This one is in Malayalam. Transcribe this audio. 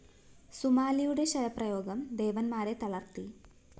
സുമാലിയുടെ ശരപ്രയോഗം ദേവന്മാരെ തളര്‍ത്തി